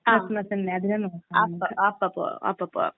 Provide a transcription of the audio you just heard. ആഹ്. അപ്പോ പോകാം അപ്പോ പോകാം.